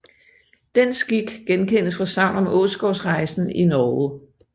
Den skik genkendes fra sagn om åsgårdsreien i Norge